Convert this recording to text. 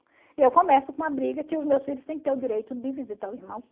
E eu começo com a briga que os meus filhos têm que ter o direito de visitar o irmão